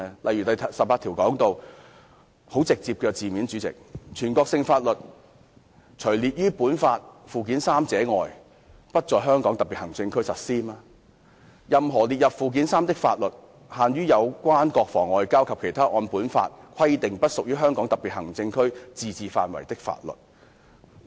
以《基本法》第十八條為例，其措辭相當直接，訂明"全國性法律除列於本法附件三者外，不在香港特別行政區實施"，以及"任何列入附件三的法律，限於有關國防、外交和其他按本法規定不屬於香港特別行政區自治範圍的法律"。